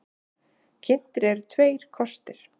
Kynntir eru tveir kostir.